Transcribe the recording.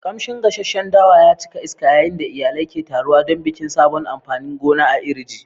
Kamshin gasasshen dawa ya cika iska yayin da iyalai ke taruwa don bikin sabon amfanin gona a Iri ji.